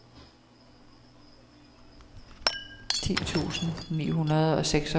ti tusind ni hundrede og seksogfyrre